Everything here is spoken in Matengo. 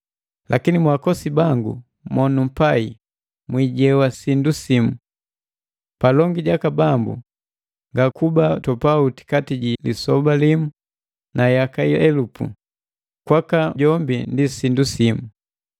Lakini mwaakosi bangu mo numpai mwijewa sindu simu! Palongi jaka Bambu, ngakuba topauti kati ji lisoba limu na yaka elupu; kwaka jombi ndi sindu simu.